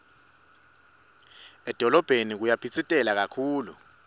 edolobheni kuyaphitsitela kakhulu